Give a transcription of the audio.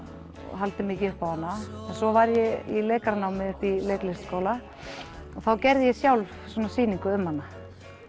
haldið mikið upp á hana svo var ég í uppi í Leiklistarskóla og þá gerði ég sjálf svona sýningu um hana